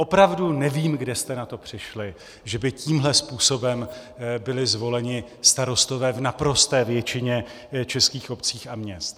Opravdu nevím, kde jste na to přišli, že by tímto způsobem byli zvoleni starostové v naprosté většině českých obcí a měst.